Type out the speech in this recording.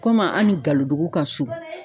Komi an ni galodugu ka surun